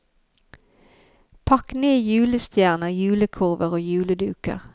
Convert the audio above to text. Pakk ned julestjerner, julekurver og juleduker.